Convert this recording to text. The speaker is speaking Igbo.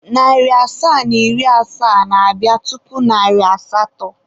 Narị asaa na iri asaa na-abịa tupu narị asatọ.